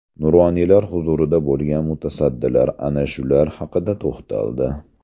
Nuroniylar huzurida bo‘lgan mutasaddilar ana shular haqida to‘xtaldi.